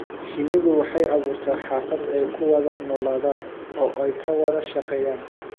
Shinnidu waxay abuurtaa xaafad ay ku wada noolaadaan oo ay ka wada shaqeeyaan.